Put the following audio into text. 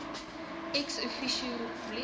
ex officio republiek